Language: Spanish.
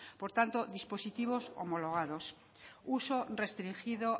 por tanto dispositivos homologados uso restringido